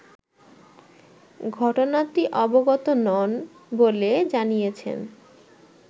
ঘটনাটি অবগত নন বলে জানিয়েছেন